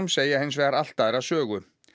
segja hins vegar allt aðra sögu